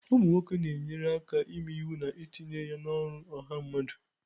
ụmụ nwoke na-enyere aka ịme iwu na itinye ya n'ọrụ ọha mmadụ